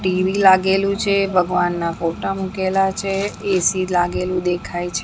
TV લાગેલુ છે ભગવાનના ફોટા મુકેલા છે એ_સી લાગેલુ દેખાય છે.